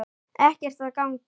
Ekkert að gagni.